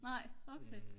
nej okay